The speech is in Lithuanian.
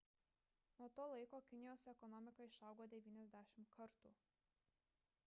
nuo to laiko kinijos ekonomika išaugo 90 kartų